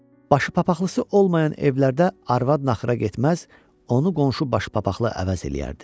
Başı papaqlısı olmayan evlərdə arvad naxıra getməz, onu qonşu baş papaqlı əvəz eləyərdi.